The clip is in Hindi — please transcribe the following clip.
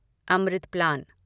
अमृत प्लान